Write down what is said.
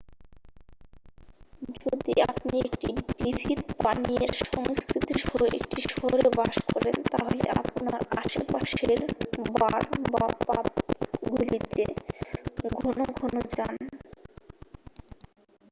যদি আপনি একটি বিবিধ পানীয়ের সংস্কৃতি সহ একটি শহরে বাস করেন তাহলে আপনার আশেপাশের বার বা পাবগুলিতে ঘন ঘন যান